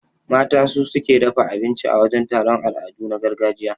Mata su suke dafa abinci a wajan taron al'adu na gargajiya.